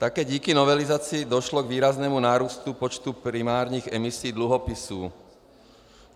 Také díky novelizaci došlo k výraznému nárůstu počtu primárních emisí dluhopisů.